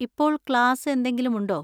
ഇപ്പോൾ ക്ലാസ് എന്തെങ്കിലും ഉണ്ടോ?